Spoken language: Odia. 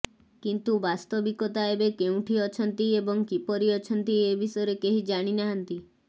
କିନ୍ତୁ ବାସ୍ତବିକତା ଏବେ କେଉଁଠି ଅଛନ୍ତି ଏବଂ କିପରି ଅଛନ୍ତି ଏ ବିଷୟରେ କେହି ଜାଣିନାହାନ୍ତି